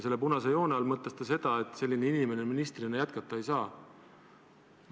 Selle punase joone all mõtles ta seda, et selline inimene ministrina jätkata ei saa.